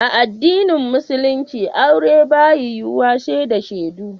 A addinin musulinci aure ba ya yiwu wa sai da shedu